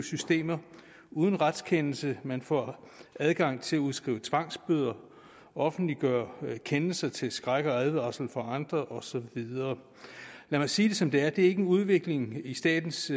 systemer uden retskendelse man får adgang til at udskrive tvangsbøder offentliggøre kendelser til skræk og advarsel for andre og så videre lad mig sige det som det er det er ikke en god udvikling i statens